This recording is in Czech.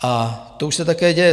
A to už se také děje.